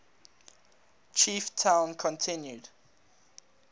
chief town continued